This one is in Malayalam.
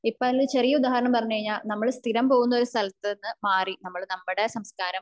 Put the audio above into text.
ഇപ്പോ അതിന് ചെറിയ ഉദാഹരണം പറഞ്ഞ കഴിഞ്ഞ നമ്മൾ സ്ഥിരം പോകുന്ന ഒരു സ്ഥലത്തു നിന്ന് മാറിട്ട് നമ്മൾ നമ്മടെ സംസ്ഥാനം